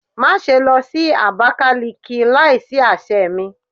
Maṣe lọ si Abakiliki laisi aṣẹ mi